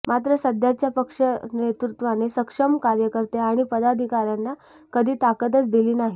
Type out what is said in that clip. मात्र सध्याच्या पक्षनेतृत्वाने सक्षम कार्यकर्ते आणि पदाधिकाऱ्यांना कधी ताकदच दिली नाही